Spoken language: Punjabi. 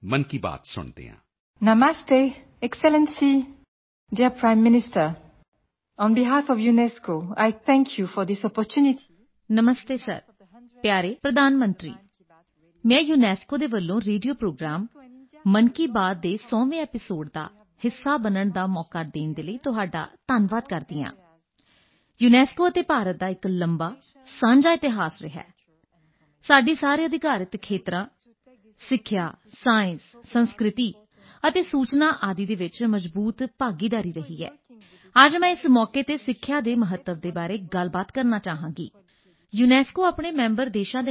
ਨਮਸਤੇ ਸਰ ਪਿਆਰੇ ਪ੍ਰਧਾਨ ਮੰਤਰੀ ਮੈਂ ਯੂਨੈਸਕੋ ਵੱਲੋਂ ਰੇਡੀਓ ਪ੍ਰੋਗਰਾਮ ਮਨ ਕੀ ਬਾਤ ਦੇ 100ਵੇਂ ਐਪੀਸੋਡ ਦਾ ਹਿੱਸਾ ਬਣਨ ਦਾ ਮੌਕਾ ਦੇਣ ਲਈ ਤੁਹਾਡਾ ਧੰਨਵਾਦ ਕਰਦੀ ਹਾਂ ਯੂਨੈਸਕੋ ਅਤੇ ਭਾਰਤ ਦਾ ਇਕ ਲੰਬਾ ਸਾਂਝਾ ਇਤਿਹਾਸ ਰਿਹਾ ਹੈ ਸਾਡੀ ਸਾਰੇ ਅਧਿਕਾਰਕ ਖੇਤਰਾਂ ਸਿੱਖਿਆ ਸਾਇੰਸ ਸੰਸਕ੍ਰਿਤੀ ਅਤੇ ਸੂਚਨਾ ਆਦਿ ਵਿੱਚ ਮਜਬੂਤ ਭਾਗੀਦਾਰੀ ਰਹੀ ਹੈ ਅਤੇ ਅੱਜ ਮੈਂ ਇਸ ਮੌਕੇ ਤੇ ਸਿੱਖਿਆ ਦੇ ਮਹੱਤਵ ਬਾਰੇ ਗੱਲਬਾਤ ਕਰਨਾ ਚਾਹਾਂਗੀ ਯੂਨੈਸਕੋ ਆਪਣੇ ਮੈਂਬਰ ਦੇਸ਼ਾਂ ਨਾਲ ਮਿਲ ਕੇ ਇਸ ਦਿਸ਼ਾ ਵਿੱਚ ਕੰਮ ਕਰ ਰਿਹਾ ਹੈ ਕਿ 2030 ਤੱਕ ਵਿਸ਼ਵ ਚ ਹਰ ਇਕ ਨੂੰ ਚੰਗੀ ਸਿੱਖਿਆ ਪ੍ਰਾਪਤ ਹੋ ਸਕੇ ਵਿਸ਼ਵ ਦੀ ਵੱਡੀ ਜਨਸੰਖਿਆ ਨੂੰ ਵੇਖਦੇ ਹੋਏ ਕੀ ਤੁਸੀਂ ਇਸ ਟੀਚੇ ਤੱਕ ਪਹੁੰਚਣ ਲਈ ਭਾਰਤੀ ਢੰਗਾਂ ਦਾ ਵਰਨਣ ਕਰ ਸਕਦੇ ਹੋ ਯੂਨੈਸਕੋ ਸੱਭਿਅਤਾ ਅਤੇ ਵਿਰਸੇ ਨੂੰ ਬਚਾਉਣ ਦੇ ਲਈ ਵੀ ਕੰਮ ਕਰਦੀ ਹੈ ਅਤੇ ਭਾਰਤ ਇਸ ਸਾਲ ਜੀ20 ਸੰਮੇਲਨ ਦੀ ਪ੍ਰਧਾਨਗੀ ਕਰ ਰਿਹਾ ਹੈ ਵਿਸ਼ਵ ਭਰ ਦੇ ਨੇਤਾ ਇਸ ਸੰਮੇਲਨ ਲਈ ਦਿੱਲੀ ਪਹੁੰਚਣਗੇ ਸਰ ਭਾਰਤ ਕਿਵੇਂ ਸੱਭਿਅਤਾ ਅਤੇ ਸਿੱਖਿਆ ਨੂੰ ਅੰਤਰਰਾਸ਼ਟਰੀ ਏਜੰਡੇ ਵਿੱਚ ਸ਼ਿਖ਼ਰ ਤੇ ਪਹੁੰਚਾਉਣਾ ਚਾਹੁੰਦਾ ਹੈ ਮੈਂ ਇਹ ਮੌਕਾ ਦੇਣ ਲਈ ਇਕ ਵਾਰ ਫਿਰ ਤੋਂ ਤੁਹਾਡਾ ਧੰਨਵਾਦ ਕਰਦੀ ਹਾਂ ਅਤੇ ਤੁਹਾਡੇ ਰਾਹੀਂ ਭਾਰਤ ਦੇ ਲੋਕਾਂ ਨੂੰ ਸ਼ੁਭਕਾਮਨਾਵਾਂ ਦਿੰਦੀ ਹਾਂ ਜਲਦੀ ਮਿਲਦੇ ਹਾਂ ਤੁਹਾਡਾ ਬਹੁਤ ਧੰਨਵਾਦ